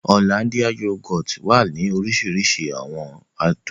Ọ̀lándìà yògòtì wà ni òrìṣirìṣi awọn àdùn